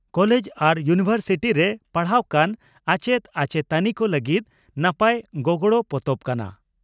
College ᱟᱨ university ᱨᱮ ᱯᱟᱲᱦᱟᱣ ᱠᱟᱱ ᱟᱪᱮᱛ ᱟᱪᱮᱛᱟᱱᱤ ᱠᱚ ᱞᱟᱹᱜᱤᱫ ᱱᱟᱯᱟᱭ ᱜᱚᱜᱚᱲᱚ ᱯᱚᱛᱚᱵ ᱠᱟᱱᱟ ᱾